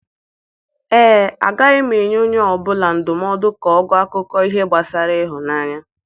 Ee, agaghị m enye onye ọ bụla ndụmọdụ ka ọ gụọ akụkọ ihe gbasara ịhụnanya.